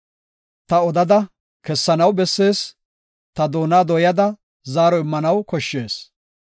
Ta odada kessanaw bessees; ta doona dooyada zaaro immanaw koshshees.